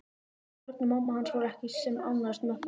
Örn og mamma hans voru ekki sem ánægðust með það.